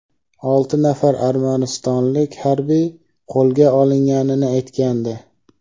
olti nafar armanistonlik harbiy qo‘lga olinganini aytgandi.